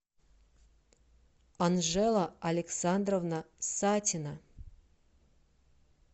анжела александровна сатина